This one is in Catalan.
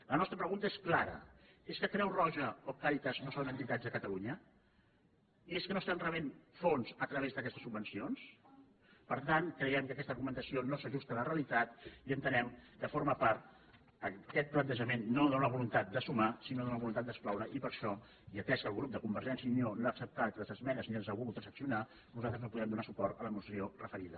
la nostra pregunta és cla·ra és que creu roja o càritas no són entitats de cata·lunya és que no estan rebent fons a través d’aquestes subvencions per tant creiem que aquesta argumentació no s’ajusta a la realitat i entenem que forma part aquest planteja·ment no d’una voluntat de sumar sinó d’una voluntat d’excloure i per això i atès que el grup de convergèn·cia i unió no ha acceptat les esmenes ni les ha volgu·des transaccionar nosaltres no podem donar suport a la moció referida